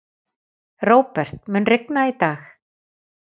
Róbert, mun rigna í dag?